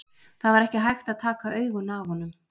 Það var ekki hægt að taka augun af honum.